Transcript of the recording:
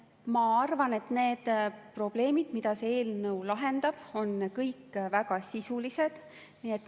Ma arvan, et need probleemid, mida see eelnõu lahendab, on kõik väga sisulised.